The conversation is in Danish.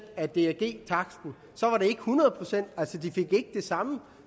af drg taksten ikke hundrede procent altså de fik ikke det samme